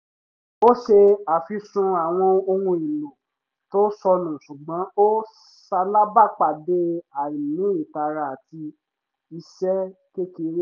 ó ṣe àfisùn àwọn ohun èlò tó sọnù ṣùgbọ́n ó salábàápàdé àìní ìtara àti ìṣe kékeré